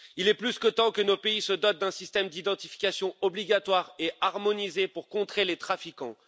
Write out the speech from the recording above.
Il est plus que temps que nos pays se dotent d'un système d'identification obligatoire et harmonisé pour contrer les trafiquants.